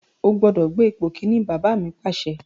O gbọ́dọ̀ gbé ipò Kínní! Bàbá mi Pàṣẹ.